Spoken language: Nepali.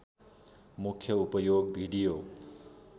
मुख्य उपयोग भिडियो